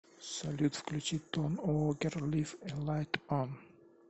салют включи том уокер лив э лайт он